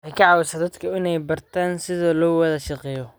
Waxay ka caawisaa dadka inay bartaan sida loo wada shaqeeyo.